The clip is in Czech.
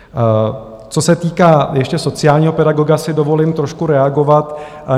Co se týká ještě sociálního pedagoga, si dovolím trošku reagovat.